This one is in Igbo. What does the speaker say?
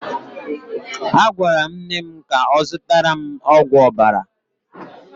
A gwara m nne m ka ọ zụtara m ọgwụ ọbara.